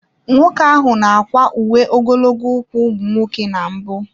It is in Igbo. Nwoke ahụ n'akwa uwe ogologo ụkwụ ụmụ nwoke na mbụ.